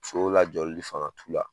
Sow lajɔli fanga t'o la.